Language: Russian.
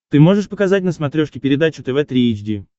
ты можешь показать на смотрешке передачу тв три эйч ди